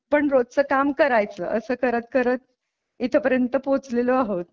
पण रोजच काम करायचं असं करत करत इथपर्यंत पोहोचलेलो आहोत.